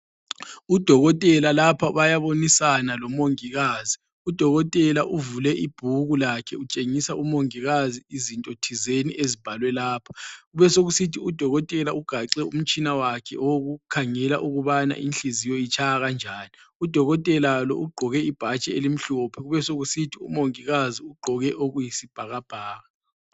Udokotela lapha bayabonisa lomongikazi, udokotela uvule ibhuku lakhe utshengisa umongikazi izinto thizeni ezibhalwe lapha, kubesekusithi udokotela ugaxe umtshina wakhe wokukhangela ukubana inhliziyo itshaya kanjani, udokotela lo ugqoke ibhatshi elimhlophe kubesokusithi umongikazi ugqoke okuyi sibhakabhaka.